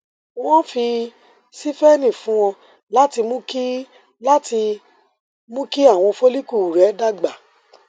wọn fi síphene fún ọ láti mú kí láti mú kí àwọn follicle rẹ dàgbà